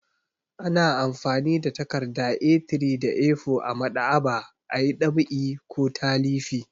Ana amfani da takarda A3 da A4 a maɗ'aba'a a yi ɗab'i ko talifi.